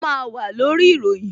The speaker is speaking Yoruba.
A máa wà lórí ìròyìn